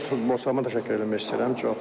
Və öz futbolçularıma təşəkkür etmək istəyirəm.